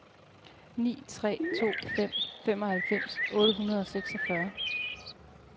ni tre to fem femoghalvfems otte hundrede og seksogfyrre